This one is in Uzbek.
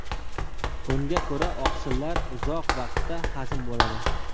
Unga ko‘ra, oqsillar uzoq vaqtda hazm bo‘ladi.